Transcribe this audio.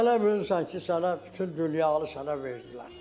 Elə bilirsən ki, sənə bütün dünyanı sənə verdilər.